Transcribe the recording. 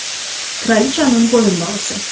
Kralıçanın boyunbağısı.